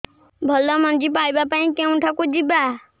ଭଲ ମଞ୍ଜି ପାଇବା ପାଇଁ କେଉଁଠାକୁ ଯିବା